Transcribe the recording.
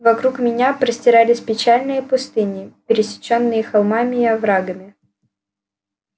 вокруг меня простирались печальные пустыни пересечённые холмами и оврагами